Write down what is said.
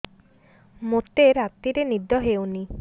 ମୋତେ ରାତିରେ ନିଦ ହେଉନି